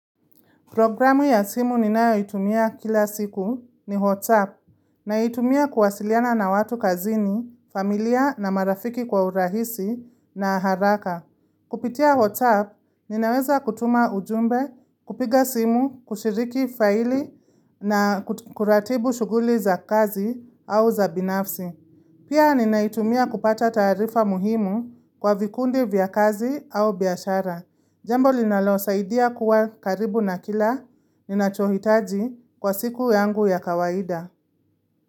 Programu ya simu ninayo itumia kila siku ni WhatsApp naitumia kuwasiliana na watu kazini, familia na marafiki kwa urahisi na haraka. Kupitia WhatsApp, ninaweza kutuma ujumbe, kupiga simu, kushiriki faili na kuratibu shughuli za kazi au za binafsi. Pia ninaitumia kupata taarifa muhimu kwa vikundi vya kazi au biashara. Jambo linalosaidia kuwa karibu na kila ninachohitaji kwa siku yangu ya kawaida.